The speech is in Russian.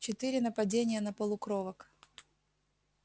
четыре нападения на полукровок